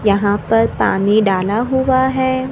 यहां पर पानी डाला हुआ है।